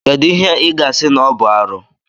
Kedụ ihe ị ga-asị na ọ bụ arụ.